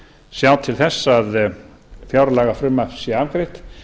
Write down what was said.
sjá til þess að fjárlagafrumvarp sé afgreitt